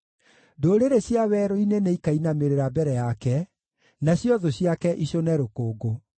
Ndũrĩrĩ cia werũ-inĩ nĩikainamĩrĩra mbere yake, nacio thũ ciake icũne rũkũngũ.